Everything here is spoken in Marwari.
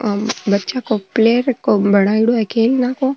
आ बच्चा जी प्ले रो बनायेडो है खेलने को --